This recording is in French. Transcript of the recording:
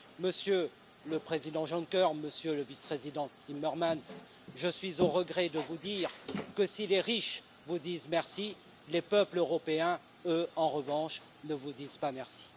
Monsieur le Président Juncker, Monsieur le Vice président Timmermans, je suis au regret de vous dire que si les riches vous disent merci, les peuples européens, eux en revanche, ne vous disent pas merci.